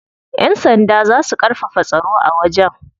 Yan sanda za su karfafa tsaro a wajen.